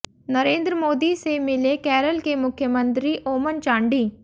नरेंद्र मोदी से मिले केरल के मुख्यमंत्री ओमन चांडी